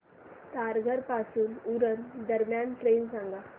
तारघर पासून उरण दरम्यान ट्रेन सांगा